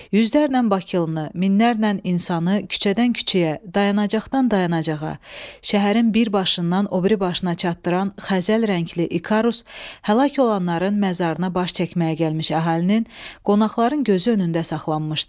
Yüzlərlə bakılını, minlərlə insanı küçədən küçəyə, dayanacaqdan dayanacağa, şəhərin bir başından o biri başına çatdıran xəzəl rəngli ikarus həl olananların məzarına baş çəkməyə gəlmiş əhalinin, qonaqların gözü önündə saxlanmışdı.